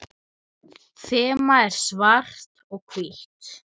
Þemað er svart og hvítt.